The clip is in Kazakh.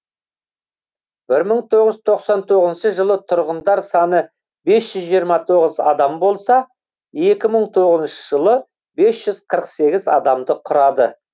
бір мың тоғыз жүз тоқсан тоғызыншы жылы тұрғындар саны бес жүз жиырма тоғыз адам болса екі мың тоғызыншы жылы бес жүз қырық сегіз адамды құрады